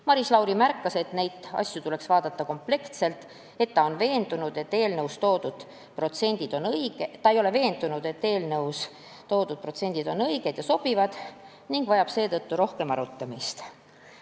Maris Lauri märkis, et neid asju tuleks vaadata kompleksselt – ta ei ole veendunud, et eelnõus toodud protsendid on õiged ja sobivad – ning need vajavad seetõttu rohkem arutamist.